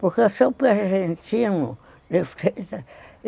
Porque eu sou.